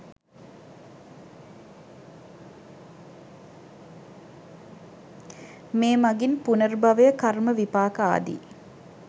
මේ මඟින් පුනර්භවය කර්ම විපාක ආදී